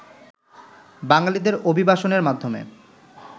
বাঙালিদের অভিবাসনের মাধ্যমে